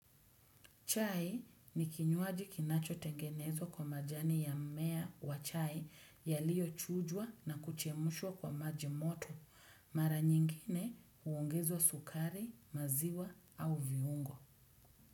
Chai ni kinyuaji kinachotengenezwa kwa majani ya mmea wa chai yaliyochujwa na kuchemushwa kwa maji moto, mara nyingine uongeza sukari, maziwa au viungo.